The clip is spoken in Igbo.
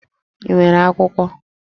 Ị nwere akwụkwọ?